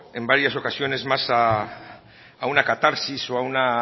en varias ocasiones a más a una catarsis o a una